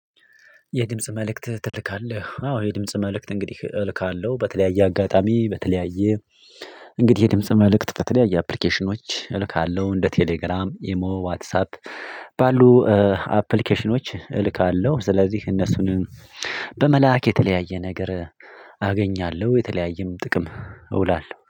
የድምጽ መልእክት ትልካለህ? አዎ የድምጽ መልእክት እንግዲህ እልካለሁ በተለያየ አጋጣሚ በተለያየ። እንግዲህ የድምጽ መልእክት ከተለያየ አፕሊኬሽኖች እልካለሁ እንደ ቴሌግራም ኢሞ ዋትሳፕ ባሉ አፕሊኬሽኖች እልካለሁ። ስለዚህ እነሱንም በመላክ የተለያየ ነገር አገኛለሁ። የተለያየም ጥቅም እውላለሁ